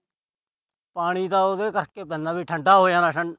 ਪਾਣੀ ਤਾਂ ਉਹਦੇ ਕਰਕੇ ਪੈਂਦਾ ਕਿ ਠੰਢਾ ਹੋ ਜਾਣਾ।